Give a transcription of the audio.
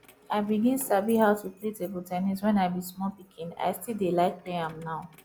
i begin sabi how to play table ten nis when i be small pikin i still dey like play am now